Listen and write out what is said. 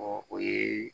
Ɔ o ye